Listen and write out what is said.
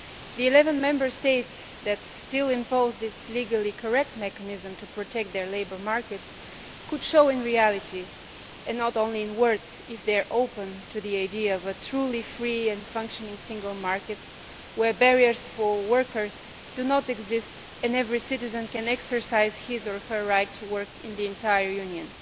The 11 Member States that still impose this legally correct mechanism to protect their labour markets could show in reality and not only in words if they are open to the idea of a truly free and functioning single market where barriers for workers do not exist and every citizen can exercise his or her right to work in the entire Union.